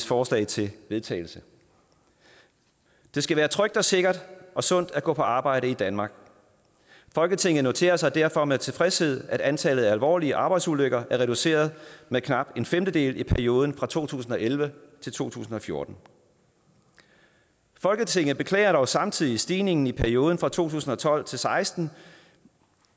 forslag til vedtagelse det skal være trygt sikkert og sundt at gå på arbejde i danmark folketinget noterer sig derfor med tilfredshed at antallet af alvorlige arbejdsulykker er reduceret med knap en femtedel i perioden fra to tusind og elleve til to tusind og fjorten folketinget beklager dog samtidig stigningen i perioden fra to tusind og tolv til seksten